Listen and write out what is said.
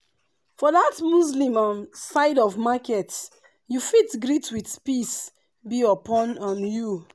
for that muslim um side of market you fit greet with “peace be upon um you